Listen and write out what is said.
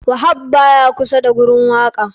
Wahab baya kusa da gurin wakan.